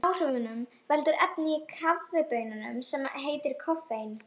Áhrifunum veldur efni í kaffibaununum sem heitir koffein.